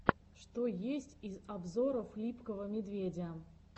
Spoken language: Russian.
что есть из обзоров липкого медведя